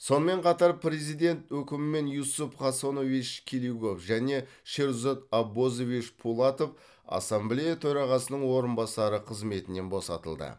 сонымен қатар президент өкімімен юсуп хасанович келигов және шерзод аббозович пулатов ассамблея төрағасының орынбасары қызметінен босатылды